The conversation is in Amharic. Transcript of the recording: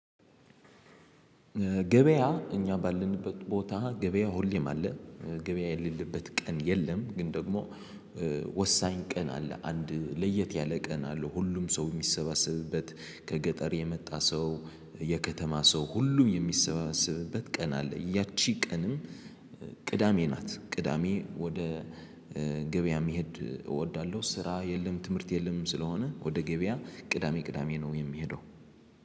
ገበያ እኛ ባለንበት ቦታ ገበያ ሁሌም አለ ገበያ የሌለበት ቀን የለም። ግን ደግሞ። ወሳኝ ቀን አለ አንድ ለየት ያለ ቀን አለ ሁሉም ሰው የሚሰባሰብበት ከገጠር የመጣ ሰው የከተማ ሰው ሁሉም የሚሰባሰብበት ቀን አለ። ያቺ ቀንም ቅዳሜ ናት። ቅዳሜ ወደ ገበያ መሄድ እወዳለሁ። ስራ የለም ትምህርት የለም ስለሆነ ወደ ገበያ ቅዳሜ ቅዳሜ ነው። የሚሄደው